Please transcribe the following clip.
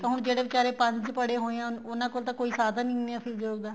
ਤਾਂ ਹੁਣ ਜਿਹੜੇ ਬੀਚਾਰੇ ਪੰਜ ਪੜੇ ਹੋਏ ਹੈ ਉਹਨਾ ਕੋਲ ਤਾਂ ਕੋਈ ਸਾਧਨ ਹੀ ਨਹੀਂ ਹੈ ਫੇਰ job ਦਾ